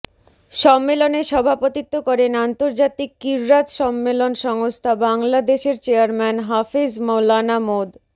সম্মেলনে সভাপতিত্ব করেন আন্তর্জাতিক ক্বিরাত সম্মেলন সংস্থা বাংলাদেশের চেয়ারম্যান হাফেজ মাওলানা মোদ